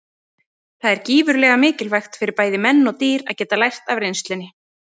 Það er gífurlega mikilvægt fyrir bæði menn og dýr að geta lært af reynslunni.